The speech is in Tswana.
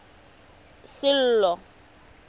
sello